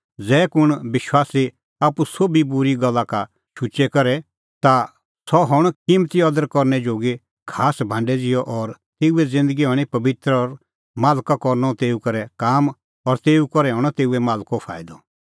ज़ै कुंण विश्वासी आप्पू सोभी बूरी गल्ला का शुचै करे ता सह हणअ किम्मती अदर करनै जोगी खास भांडै ज़िहअ और तेऊए ज़िन्दगी हणीं पबित्र और मालका करनअ तेऊ करै काम और तेऊ करै हणअ तेऊए मालका फाईदअ